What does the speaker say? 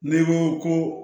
N'i ko ko